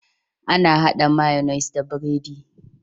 Ana hada mayonnaise da biredi